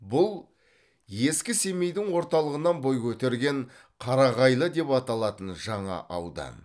бұл ескі семейдің орталығынан бой көтерген қарағайлы деп аталатын жаңа аудан